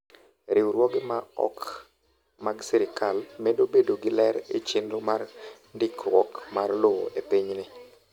Riwruoge ma ok mag sirkal medo bedo gi ler e chenro mar ndikruok mar lowo e pinyni.